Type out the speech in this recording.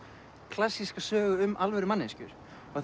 klassíska sögu um alvöru manneskjur